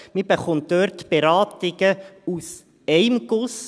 Man erhält dort Beratungen aus einem Guss.